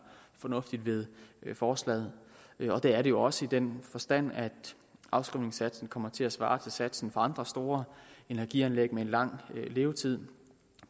fornuftigt ved forslaget og det er det jo også i den forstand at afskrivningssatsen kommer til at svare til satsen for andre store energianlæg med en lang levetid